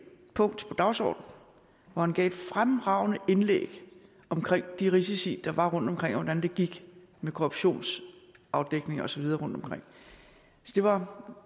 punkt på dagsordenen hvor han gav et fremragende indlæg om de risici der var rundtomkring og om hvordan det gik med korruptionsafdækning og så videre rundtomkring det var